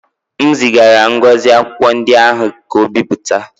M zigara Ngozi akwụkwọ ndị ahụ ka o bipụta